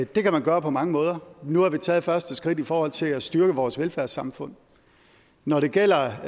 det kan man gøre på mange måder nu har vi taget et første skridt i forhold til at styrke vores velfærdssamfund når det gælder